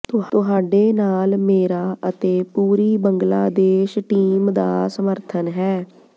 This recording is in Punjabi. ਤੁਹਾਡੇ ਨਾਲ ਮੇਰਾ ਅਤੇ ਪੂਰੀ ਬੰਗਲਾਦੇਸ਼ ਟੀਮ ਦਾ ਸਮਰਥਨ ਹੈ